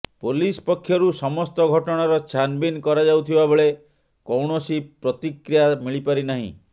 police ପକ୍ଷରୁ ସମସ୍ତ ଘଟଣାର ଛାନଭିନ କରାଯାଉଥିବାବେଳେ କୌଣସି ପ୍ରତିକ୍ରିୟା ମିଳିପାରିନାହିଁ